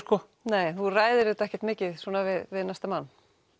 nei þú ræðir þetta ekkert mikið við næsta mann